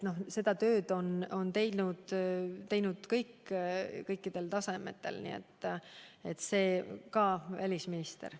Seda tööd on teinud kõik kõikidel tasemetel, sealhulgas välisminister.